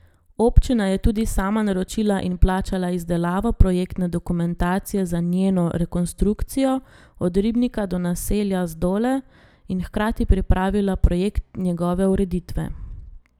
Občina je tudi sama naročila in plačala izdelavo projektne dokumentacije za njeno rekonstrukcijo od ribnika do naselja Zdole in hkrati pripravila projekt njegove ureditve.